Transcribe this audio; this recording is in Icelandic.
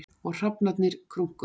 Og hrafnarnir krunkuðu.